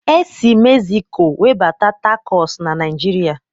E sị Mexiko webata tacọs na Naijiria